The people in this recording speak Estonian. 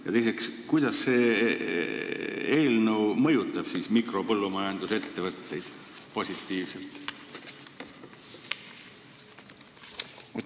Ja teiseks: kuidas see eelnõu mõjutab mikropõllumajandusettevõtteid positiivselt?